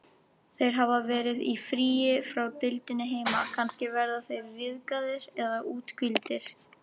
Þeir hafa verið í fríi frá deildinni heima, kannski verða þeir ryðgaðir eða úthvíldir.